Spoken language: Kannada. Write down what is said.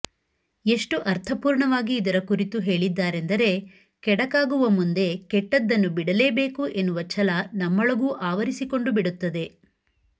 ಎಷ್ಟು ಅರ್ಥಪೂರ್ಣವಾಗಿ ಇದರ ಕುರಿತು ಹೇಳಿದ್ದಾರೆಂದರೆ ಕೆಡುಕಾಗುವ ಮುಂದೆ ಕೆಟ್ಟದ್ದನ್ನು ಬಿಡಲೇಬೇಕು ಎನ್ನುವ ಛಲ ನಮ್ಮೊಳಗು ಆವರಿಸಿಕೊಂಡು ಬಿಡುತ್ತದೆ